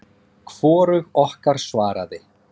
Hvorug okkar svaraði.